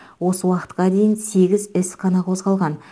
осы уақытқа дейін сегіз іс қана қозғалған